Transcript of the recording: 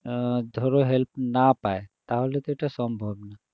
ধরো help না পায়, তাহলে তো এটা সম্ভব না